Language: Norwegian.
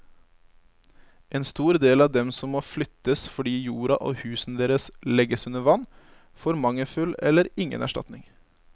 En stor del av dem som må flyttes fordi jorda og husene deres legges under vann, får mangelfull eller ingen erstatning.